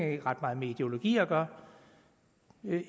ikke ret meget med ideologi at gøre